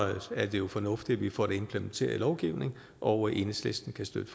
er det jo fornuftigt at vi får det implementeret i lovgivningen og enhedslisten kan støtte